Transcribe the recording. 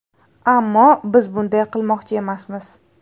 Ammo biz bunday qilmoqchi emasmiz.